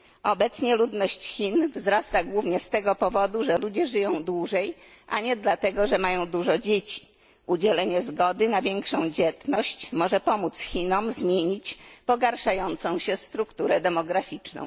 Obecnie ludność Chin wzrasta głównie z tego powodu, że ludzie żyją dłużej, a nie dlatego, że mają dużo dzieci. Udzielenie zgody na większą dzietność może pomóc Chinom zmienić pogarszającą się strukturę demograficzną.